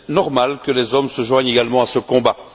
Il est normal que les hommes se joignent également à ce combat.